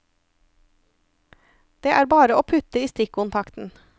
Det er bare å putte i stikkontakten.